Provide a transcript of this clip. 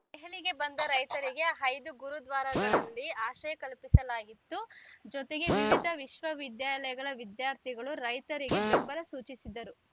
ದೆಹಲಿಗೆ ಬಂದ ರೈತರಿಗೆ ಐದು ಗುರುದ್ವಾರಗಳಲ್ಲಿ ಆಶ್ರಯ ಕಲ್ಪಿಸಲಾಗಿತ್ತು ಜೊತೆಗೆ ವಿವಿಧ ವಿಶ್ವ ವಿದ್ಯಾಲಯಗಳ ವಿದ್ಯಾರ್ಥಿಗಳು ರೈತರಿಗೆ ಬೆಂಬಲ ಸೂಚಿಸಿದ್ದರು